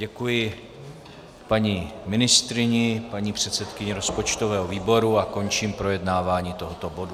Děkuji paní ministryni, paní předsedkyni rozpočtového výboru a končím projednávání tohoto bodu.